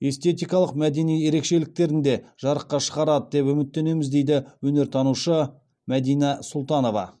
эстетикалық мәдени ерекшеліктерін де жарыққа шығарады деп үміттенеміз дейді өнертанушы мәдина сұлтанова